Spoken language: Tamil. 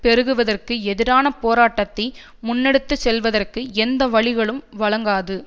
பெருகுவதற்கு எதிரான போராட்டத்தை முன்னெடுத்துச்செல்வதற்கு எந்த வழிகலும் வழங்காது